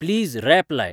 please wrap लाय